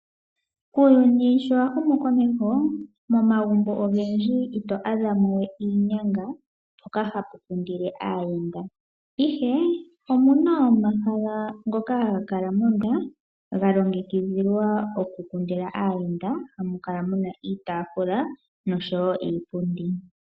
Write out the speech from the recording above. Uuyuni sho wahumu komeho momagumbo ogendji oto adhamowe iinyanga mpoka hapu kundilwa aayenda. Ihe omuna omahala ngoka haga kala ga ga longekidhilwa oku kundila aayenda hamu kala muna iitafula noshowo iipundi.